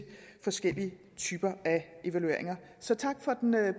forskellige typer af evalueringer så tak for den